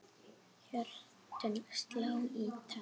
Hjörtun slá í takt.